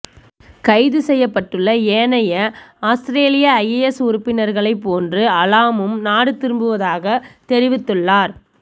கைதுசெய்யப்பட்டுள்ள ஏனைய அவுஸ்திரேலிய ஐஎஸ் உறுப்பினர்களை போன்று அலாமும் நாடு திரும்பவிரும்புவதாக தெரிவித்துள்ளார்